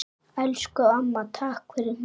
Elsku amma, takk fyrir mig.